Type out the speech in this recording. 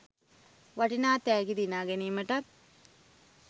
වටිනා තෑගි දිනාගැනීමටත්